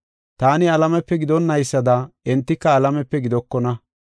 Taani alamepe gidonaysada entika alamepe gidokona.